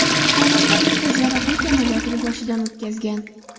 Xonanda ikkita jarrohlik amaliyotini boshidan o‘tkazgan.